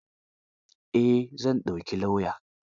Eh, zan dauki lauya.